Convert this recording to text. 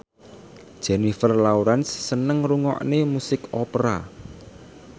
Jennifer Lawrence seneng ngrungokne musik opera